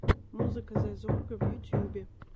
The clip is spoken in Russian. музыка зэ зорга в ютьюбе